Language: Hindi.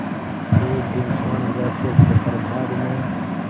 एक दिन स्वर्णरहस्य के प्रभात में